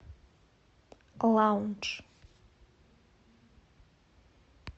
лаундж